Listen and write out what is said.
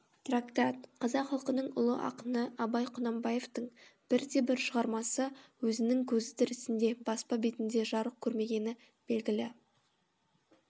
трактат қазақ халқының ұлы ақыны абай құнанбаевтың бір де бір шығармасы өзінің көзі тірісінде баспа бетінде жарық көрмегені белгілі